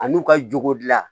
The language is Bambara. A n'u ka jogo gilan